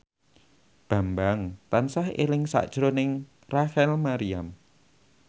Bambang tansah eling sakjroning Rachel Maryam